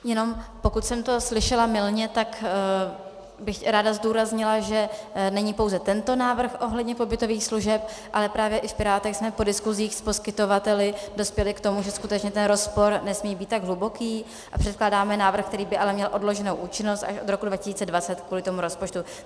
Jenom pokud jsem to slyšela mylně, tak bych ráda zdůraznila, že není pouze tento návrh ohledně pobytových služeb, ale právě i v Pirátech jsme po diskusích s poskytovateli dospěli k tomu, že skutečně ten rozpor nesmí být tak hluboký, a předkládáme návrh, který by ale měl odloženou účinnost až od roku 2020 kvůli tomu rozpočtu.